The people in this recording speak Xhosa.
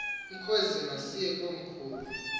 mkhozi masiye komkhulu